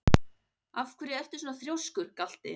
Af hverju ertu svona þrjóskur, Galti?